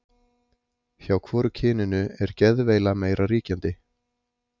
Hjá hvoru kyninu er geðveila meira ríkjandi?